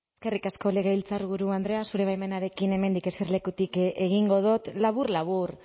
eskerrik asko legebiltzarburu andrea zure baimenarekin hemendik eserlekutik egingo dut labur labur